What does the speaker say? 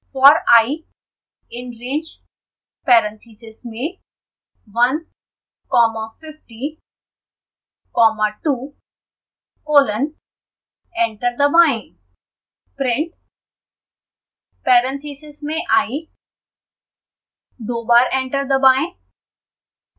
for i in range parentheses में one comma fifty comma two colon